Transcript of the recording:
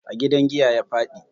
A gidan giya ya faɗi.